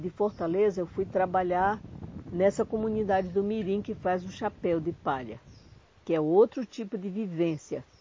De Fortaleza eu fui trabalhar nessa comunidade do Mirim que faz o chapéu de palha, que é outro tipo de vivência.